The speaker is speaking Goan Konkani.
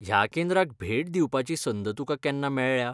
ह्या केंद्राक भेट दिवपाची संद तुकां केन्ना मेळ्ळ्या?